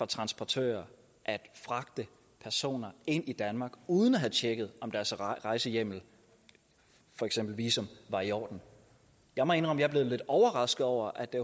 transportører fragtede personer ind i danmark uden at have tjekket om deres rejsehjemmel for eksempel visum var i orden jeg må indrømme er blevet lidt overrasket over at det